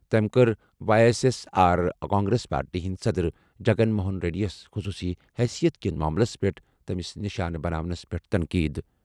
تٔمۍ کٔر Y S S R Congress party ہٕنٛدۍ صدر جگن موہن ریڈی یَس خصوصی حیثیت کِس معاملَس پٮ۪ٹھ تٔمِس نشانہٕ بناونَس پٮ۪ٹھ تنقید۔